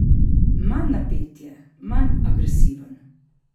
Manj napet je, manj agresiven.